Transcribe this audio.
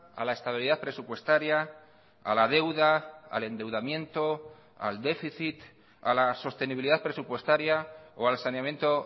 a la estabilidad presupuestaria a la deuda al endeudamiento al déficit a la sostenibilidad presupuestaria o al saneamiento